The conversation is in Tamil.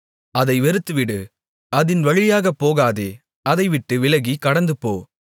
அதை வெறுத்துவிடு அதின் வழியாகப் போகாதே அதைவிட்டு விலகிக் கடந்துபோ